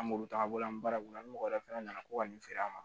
An b'olu ta an bolo an bɛ baara kɔnɔ ni mɔgɔ wɛrɛ fana nana ko ka nin feere an ma